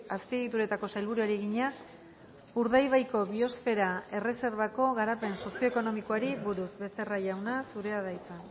azpiegituretako sailburuari egina urdaibaiko biosfera erreserbako garapen sozioekonomikoari buruz becerra jauna zurea da hitza